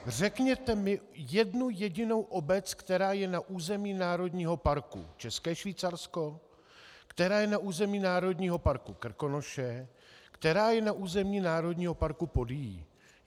Řekněte mi jednu jedinou obec, která je na území Národního parku České Švýcarsko, která je na území Národního parku Krkonoše, která je na území Národního parku Podyjí.